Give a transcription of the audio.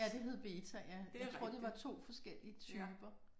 Ja det hed beta ja. Jeg tror det var 2 forskellige typer